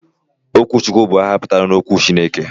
Okwuchukwu bu aha putara 'okwu Chineke'